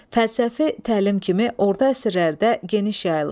Fəlsəfi təlim kimi orta əsrlərdə geniş yayılıb.